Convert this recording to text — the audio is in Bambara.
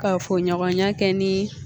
Ka fogo ɲɔgɔnya kɛ ni